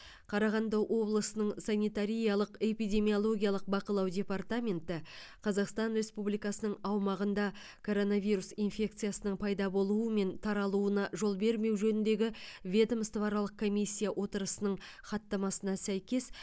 қарағанды облысының санитариялық эпидемиологиялық бақылау департаменті қазақстан республикасының аумағында коронавирус инфекциясының пайда болуы мен таралуына жол бермеу жөніндегі ведомствоаралық комиссия отырысының хаттамасына сәйкес